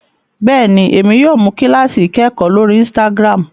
béèni, Èmi yóò mú kilasi ikẹkọ lórí instagram